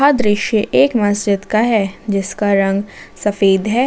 यह दृश्य एक मस्जिद का है जिसका रंग सफेद है।